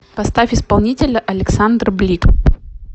поставь исполнителя александр блик